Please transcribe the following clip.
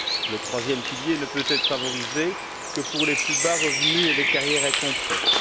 Le troisième pilier ne peut être favorisé que pour les plus bas revenus et les carrières incomplètes.